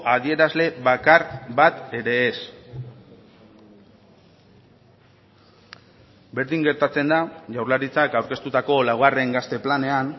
adierazle bakar bat ere ez berdin gertatzen da jaurlaritzak aurkeztutako laugarren gazte planean